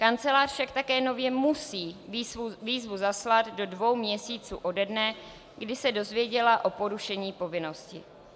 Kancelář však také nově musí výzvu zaslat do dvou měsíců ode dne, kdy se dozvěděla o porušení povinnosti.